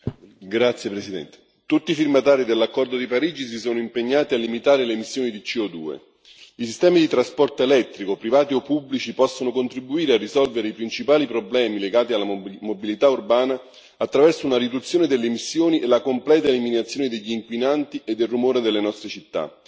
Signor Presidente, onorevoli colleghi, tutti i firmatari dell'accordo di Parigi si sono impegnati a limitare le emissioni di CO2. I sistemi di trasporto elettrico, privati o pubblici, possono contribuire a risolvere i principali problemi legati alla mobilità urbana attraverso una riduzione delle emissioni e la completa eliminazione degli inquinanti e del rumore dalle nostre città.